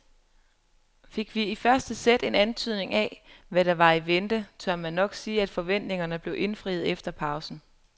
Fik vi i første sæt en antydning af hvad der var i vente, tør man nok sige at forventningerne blev indfriet efter pausen.